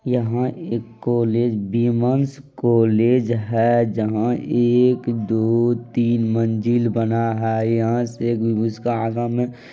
''यहा एक college women's college है जहा एक दो तीन मंजिल बना है यहा से-- '']